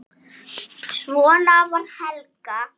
Svona var Helga.